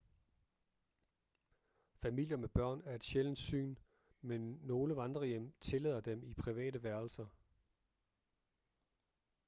familier med børn er et sjældent syn men nogle vandrehjem tillader dem i private værelser